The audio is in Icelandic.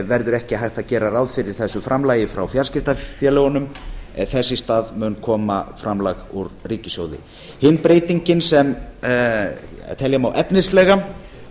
verður ekki hægt að gera ráð fyrir þessu framlagi frá fjarskiptafélögunum en þess í stað mun koma framlag úr ríkissjóði hin breytingin sem telja má efnislega